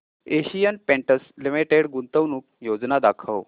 Asian Paints Limited गुंतवणूक योजना दाखव